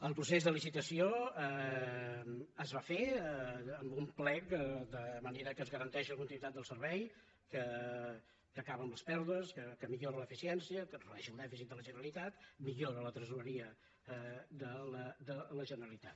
el procés de licitació es va fer amb un plec de manera que es garanteix la continuïtat del servei que acaba amb les pèrdues que millora l’eficiència que redueix el dèficit de la generalitat millora la tresoreria de la generalitat